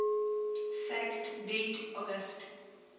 fact date august